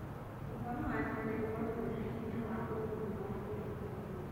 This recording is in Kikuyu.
ũhoro wa tene ũronania hinya wa ũrũmwe wa gĩbũrũri.